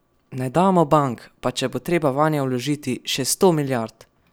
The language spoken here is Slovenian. Ne damo bank, pa če bo treba vanje vložiti še sto milijard!